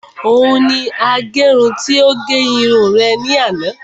Òun ni agẹrun tí ó gẹ irun rẹ̀ ní àná